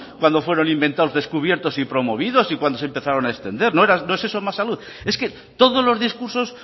cuando fueron inventados descubiertos y promovidos y cuando se empezaron a extender no es eso más salud es que todos los discursos